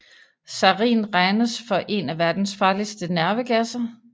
Sarin regnes for en af verdens farligste nervegasser